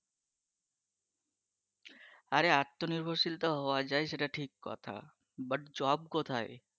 আরে আত্মনির্ভরশীল হওয়া যাই সেটা ঠিক কথা কিন্তু job কোথায়